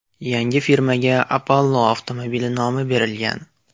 Yangi firmaga Apollo Automobil nomi berilgan.